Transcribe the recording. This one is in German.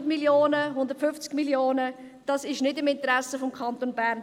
100 Mio. oder 150 Mio. Franken – eine Senkung ist nicht im Interesse des Kantons Bern.